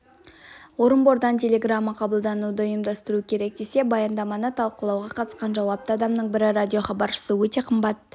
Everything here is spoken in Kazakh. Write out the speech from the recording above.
орынбордан телеграмма қабылдауды ұйымдастыру керек десе баяндаманы талқылауға қатысқан жауапты адамның бірі радиохабаршысы өте қымбат